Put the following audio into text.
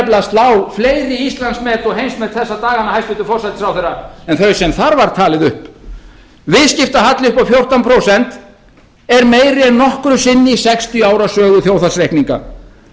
slá fleiri íslandsmet og heimsmet þessa dagana hæstvirtur forsætisráðherra en þau sem þar var talið upp viðskiptahalli upp á fjórtán prósent er meiri en nokkru sinni í sextíu ára sögu þjóðhagsreikninga skuldir heimilanna nálgast nú eitt þúsund